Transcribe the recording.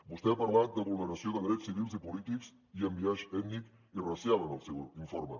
vostè ha parlat de vulneració de drets civils i polítics i amb biaix ètnic i racial en el seu informe